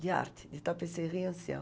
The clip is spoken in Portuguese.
De arte, de tapeceria anciã.